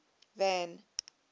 van